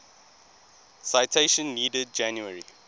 citation needed january